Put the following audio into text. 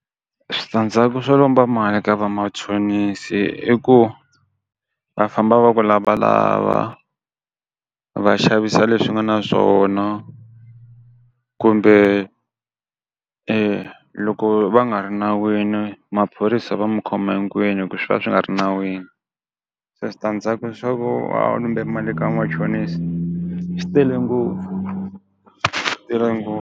Switandzhaku swo lomba mali ka vamachonisi i ku va famba va ku lavalava va xavisa leswi nga na swona kumbe loko va nga ri nawini maphorisa va mu khoma hinkwenu hi ku swi va swi nga ri nawini. Se switandzhaku swa ku va u lumbe mali ka machonisi swi tele ngopfu swi tele ngopfu.